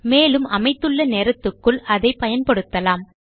மேலும் அமைத்துள்ள நேரத்துக்குள் அதை பயன்படுத்தலாம்